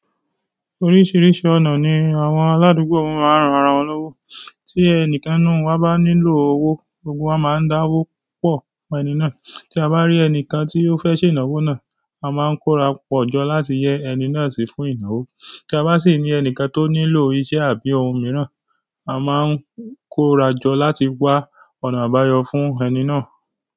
Oríṣiríṣi ọ̀nà ni àwọn aládùúgbò won máa ń ran ara wọn lówó. Tí ẹnìkan nínú waa bá nílò owó, gbogbo waa máa ń dáwó pọ̀ fún ẹni náà. Tí a bá rí ẹnìkan tí ó fẹ́ ṣe ìnáwó náà, a máa ń kóra pọ̀jọ láti yẹ ẹni náà sí fún ìnáwó. Tí a bá sì ní ẹnìkan tó nílò iṣẹ́ àbí ohun mìíràn, a máa ń kóra jọ láti wá ọ̀nà àbáyọ fún ẹni náà.